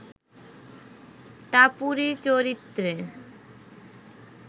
টাপুরী চরিত্রে